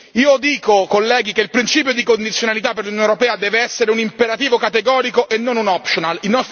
Io dico, colleghi, che il principio di condizionalità per l'Unione europea deve essere un imperativo categorico e non un optional